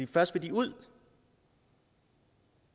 først vil de ud